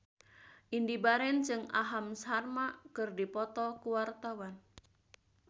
Indy Barens jeung Aham Sharma keur dipoto ku wartawan